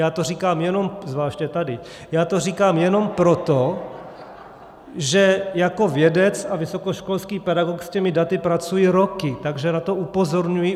Já to říkám jenom - zvláště tady - já to říkám jenom proto , že jako vědec a vysokoškolský pedagog s těmi daty pracuji roky, takže na to upozorňuji.